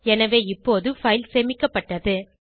எனவே இப்போது பைல் சேமிக்ப்பட்டது